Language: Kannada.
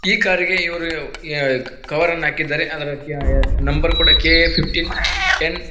ಈ ಕಾರಿಗೆ ಇವರು ಈ ಕವರ್ ಅನ್ನ ಹಾಕಿದ್ದಾರೆ ಅದ ಅದರ ನಂಬರ್ ಕೂಡಾ ಕೆ ಎ ಫಿಫ್ಟೀನ್ ಏನ್ --